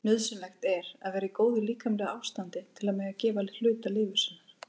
Nauðsynlegt er að vera í góðu líkamlegu ástandi til að mega gefa hluta lifur sinnar.